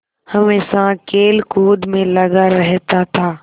हमेशा खेलकूद में लगा रहता था